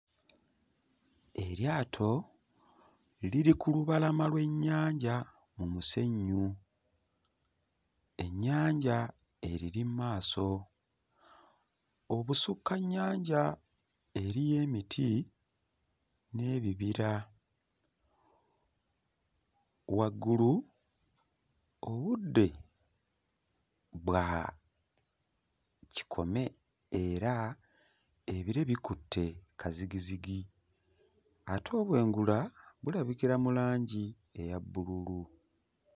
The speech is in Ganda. Eryato liri ku lubalama lw'ennyanja mu musenyu. Ennyanja eriri mu maaso. Obusukka nnyanja eriyo emiti n'ebibira. Waggulu obudde bwakikome era ebire bikutte kazigizigi, ate obwengula bulabikira mu langi eya bbululu.